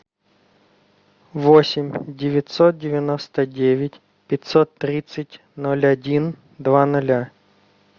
восемь девятьсот девяносто девять пятьсот тридцать ноль один два ноля